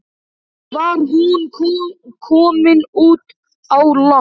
Var hún komin út á land?